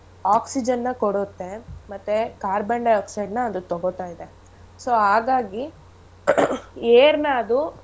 Oxygen ನ ಕೊಡುತ್ತೆ ಮತ್ತೇ carbon dioxide ನ ಅದು ತೊಗೋತಾ ಇದೆ so ಹಾಗಾಗಿ air ನ ಅದು.